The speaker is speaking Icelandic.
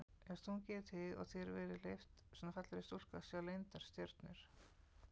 Já stungið í þig og þér verið leyft, svona fallegri stúlku að sjá leyndar stjörnur?